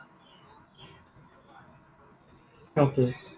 okay